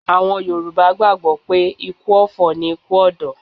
Àwọn Yorùbá gbàgbó pé ikú ọ̀fọ̀ ni ikú ọ̀dọ́